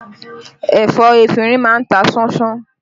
Ẹ̀fọ́ efinrin máa ń ta ṣánṣán